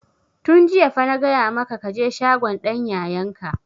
Tun jiya fa na gaya maka ka je shagon dan yayan ka!